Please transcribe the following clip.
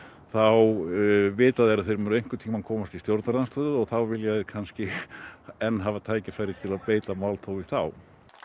þá vita þeir að þeir munu einhvern tímann komast í stjórnarandstöðu og þá vilja þeir enn hafa tækifæri til að beita málþófi þá